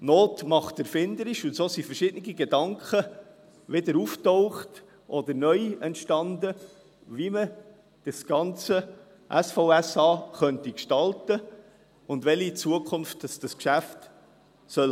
» Not macht erfinderisch, und so tauchten verschiedene Gedanken wieder auf oder entstanden neu, wie man das ganze SVSA gestalten könnte und welche Zukunft dieses Geschäft haben soll.